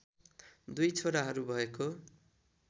दुर्इ छोराहरू भएको